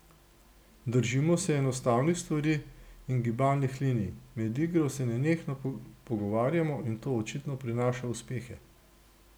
Držimo se enostavnih stvari in gibalnih linij, med igro se nenehno pogovarjamo in to očitno prinaša uspehe.